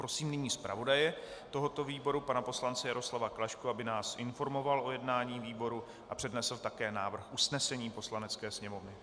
Prosím nyní zpravodaje tohoto výboru pana poslance Jaroslava Klašku, aby nás informoval o jednání výboru a přednesl také návrh usnesení Poslanecké sněmovny.